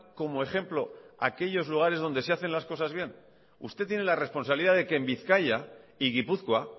como ejemplo aquellos lugares donde se hacen las cosas bien usted tiene la responsabilidad de que en bizkaia y gipuzkoa